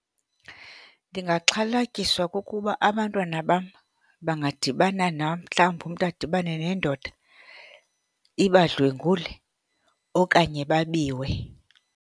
Ndingaxhalatyiswa kukuba abantwana bam bangadibana, mhlawumbi umntu adibane nendoda ibadlwengulwe okanye babiwe.